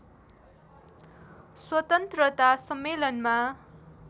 स्वतन्त्रता सम्मेलनमा